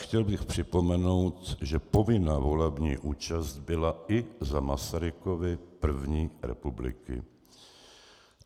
Chtěl bych připomenout, že povinná volební účast byla i za Masarykovy první republiky.